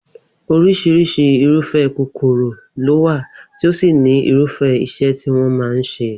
Orís̩irís̩i irúfé̩ kòkòrò ló wà tí ó sì ní irúfé̩ is̩é̩ tí wó̩n máa ń s̩e